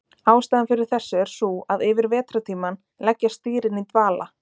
ástæðan fyrir þessu er sú að yfir vetrartímann leggjast dýrin í dvala